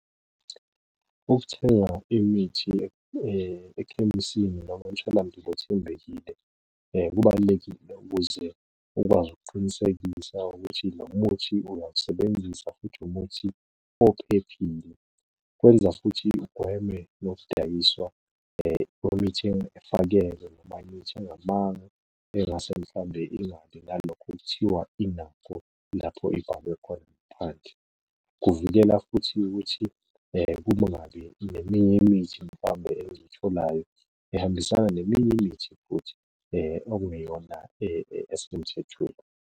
Ukuthenga imithi ekhemisini noma emtholampilo othembekile kubalulekile ukuze ukwazi ukuqinisekisa ukuthi lo muthi uyawusebenzisa, futhi umuthi ophephile. Kwenza futhi ugweme nokudayiswa kwemithi efakelwe noma imithi engamanga engase mhlawumbe ingabi nalokho okuthiwa inako . Kuvikela futhi ukuthi kungabi neminye imithi mhlawumbe ezitholayo ihambisana neminye imithi futhi ekungeyona esemthethweni.